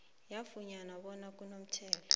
yafumana bona kunomthetho